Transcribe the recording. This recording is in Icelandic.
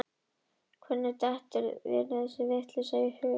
Hvernig dettur þér þessi vitleysa í hug, stóri kjáninn minn sagði